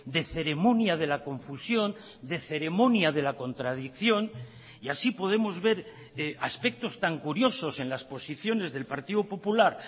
de ceremonia de la confusión de ceremonia de la contradicción y así podemos ver aspectos tan curiosos en las posiciones del partido popular